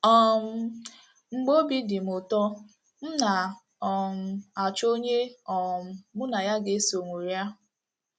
um Mgbe obi dị m ụtọ, m na - um achọ onye um mụ na ya ga - eso ṅụrịa.